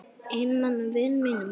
Einmana vinum mínum.